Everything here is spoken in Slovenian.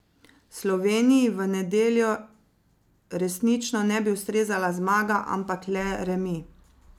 Sloveniji v nedeljo resnično ne bi ustrezala zmaga, ampak le remi.